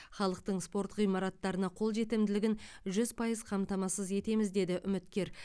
халықтың спорт ғимараттарына қолжетімділігін жүз пайыз қамтамасыз етеміз деді үміткер